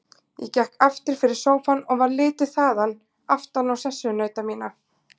Ég gekk aftur fyrir sófann og varð litið þaðan aftan á sessunauta mína.